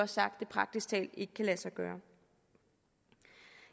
sagt at det praktisk talt ikke kan lade sig gøre